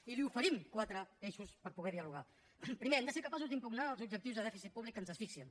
i li oferim quatre eixos per poder dialogar primer hem de ser capaços d’impugnar els objectius de dèficit públic que ens asfixien